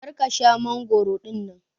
Kar ka Sha mangoro dinnan.